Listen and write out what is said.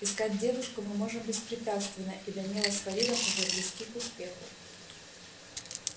искать девушку мы можем беспрепятственно и данила с фаридом уже близки к успеху